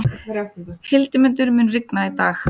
Hildimundur, mun rigna í dag?